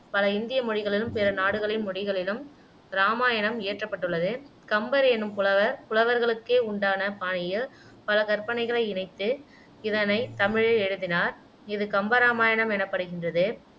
பல இந்திய மொழிகளிலும் பிற நாடுகளின் மொழிகளிலும் இராமாயணம் இயற்றப்பட்டுள்ளது கம்பர் என்னும் புலவர் புலவர்களுக்கே உண்டான பாணியில் பல கற்பனைகளை இனைத்து இதனைத் தமிழில் எழுதினார் இது கம்ப இராமாயணம் எனப்படுகின்றது